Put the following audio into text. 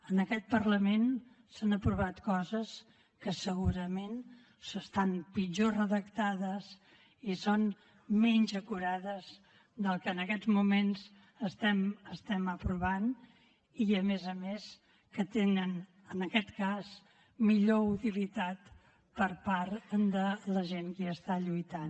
en aquest parlament s’han aprovat coses que segurament estan pitjor redactades i són menys acurades que la que en aquests moments estem aprovant i a més a més que tenen en aquest cas millor utilitat per part de la gent que hi està lluitant